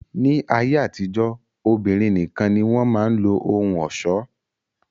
Ni ayé àtijọ́, obìnrin nìkan ni wọn máa ń lo ohun ọ̀ṣọ́